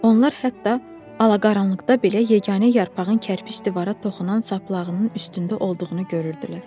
Onlar hətta alaqaranlıqda belə yeganə yarpağın kərpic divara toxunan saplağının üstündə olduğunu görürdülər.